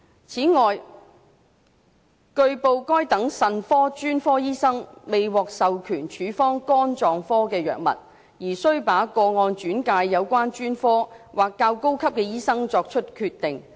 此外，據報該等腎科專科醫生未獲授權處方肝臟科藥物，而須把個案轉介有關專科或較高級的醫生作決定。